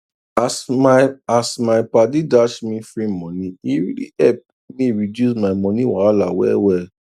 as my as my padi dash me free money e really epp me reduce my moni wahala well well